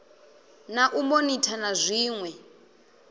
na u monitha na dziṋwe